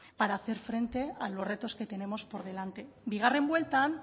para hacer frente a los retos que tenemos por delante bigarren bueltan